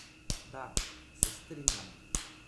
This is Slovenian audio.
Da, se strinjam.